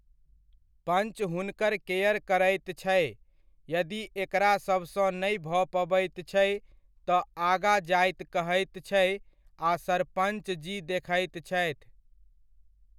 पञ्च हुनकर केयर करैत छै, यदि एकरासभसॅं नहि भऽ पबैत छै, तऽ आगाँ जाइत कहैत छै आ सरपञ्चजी देखैत छथि।